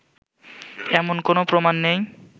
এমন কোনও প্রমাণ নেই